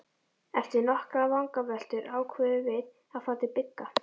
Eftir nokkrar vangaveltur ákváðum við að fara til Bigga.